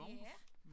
Ja